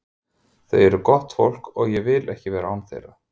Þau eru gott fólk og ég vil ekki vera án þeirra.